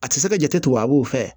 A tɛ se ka jate tugu a b'o fɛ